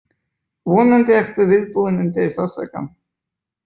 Vonandi ertu viðbúinn undir sársaukann.